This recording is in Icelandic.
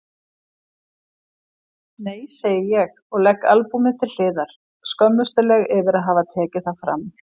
Nei segi ég og legg albúmið til hliðar, skömmustuleg yfir að hafa tekið það fram.